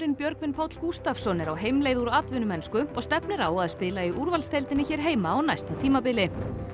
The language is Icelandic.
Björgvin Páll Gústavsson er á heimleið úr atvinnumennsku og stefnir á að spila í úrvalsdeildinni hér heima á næsta tímabili